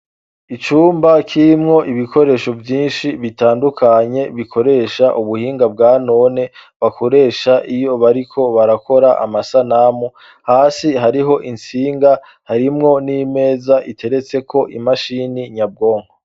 Icumba kirimwo ibikoresho vyinshi bitandukanye bikoresha ubuhinga bwa none bakoresha iyo bariko barakora amasanamu hasi hariho intsinga harimwo n'imeza iteretseko imashini nyabwonko.